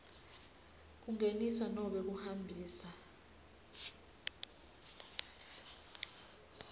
kungenisa nobe kuhambisa